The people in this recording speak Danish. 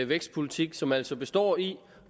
vækstpolitik som altså består i